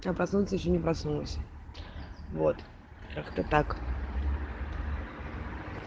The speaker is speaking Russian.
я проснуться я ещё не проснулась вот как-то так